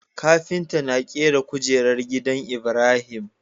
Kafinta na kera kujerar gidan ibrahim